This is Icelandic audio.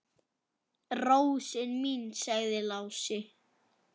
Rósin mín, sagði Lási.